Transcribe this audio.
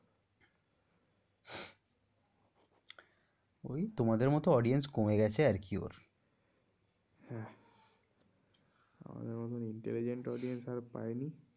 ওই তোমাদের মতো audience কমে গেছে আর কি ওর। হ্যাঁ আমাদের মতো intelligent audience আর পায়নি।